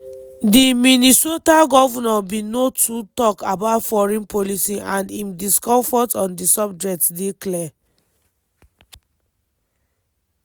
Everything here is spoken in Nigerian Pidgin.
di minnesota govnor bin no too tok about foreign policy and im discomfort on di subject dey clear.